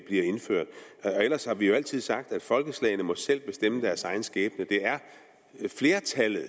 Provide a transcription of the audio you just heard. indført ellers har vi jo altid sagt at folkeslagene selv må bestemme deres egen skæbne det er flertallet og